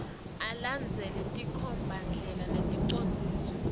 alandzele tinkhombandlela neticondziso